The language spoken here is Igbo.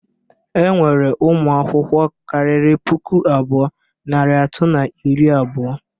Enwere ụmụ akwụkwọ kariri puku abụọ, narị atọ na iri abụọ.